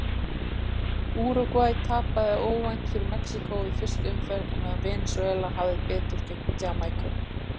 Úrúgvæ tapaði óvænt fyrir Mexíkó í fyrstu umferð á meðan Venesúela hafði betur gegn Jamaíku.